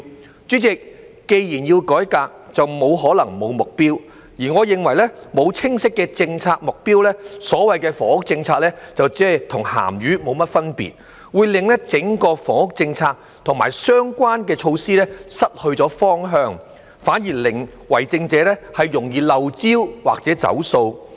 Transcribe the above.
代理主席，既然要改革，便不可能沒有目標，而我認為沒有清晰的政策目標，所謂的房屋政策就"同鹹魚無分別"，會令整個房屋政策及相關的措施失去方向，反而令為政者容易"漏招"或"走數"。